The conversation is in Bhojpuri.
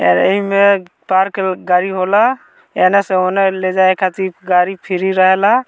इ में पार्क गाड़ी होइला एने से ओने ले जाय खातिर गाड़ी फ्री रहला।